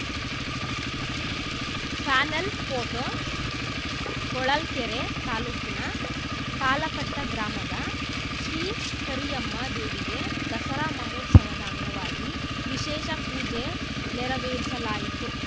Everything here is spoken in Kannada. ಫಾನೆಲ್‌ ಪೋಟೋ ಹೊಳಲ್ಕೆರೆ ತಾಲೂಕಿನ ತಾಳಕಟ್ಟಗ್ರಾಮದ ಶ್ರೀ ಕರಿಯಮ್ಮ ದೇವಿಗೆ ದಸರಾ ಮಹೋತ್ಸವದ ಅಂಗವಾಗಿ ವಿಶೇಷ ಪೂಜೆ ನೆರವೇರಿಸಲಾಯಿತು